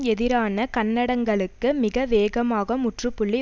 எதிரான கண்டனங்களுக்கு மிக வேகமாக முற்றுப்புள்ளி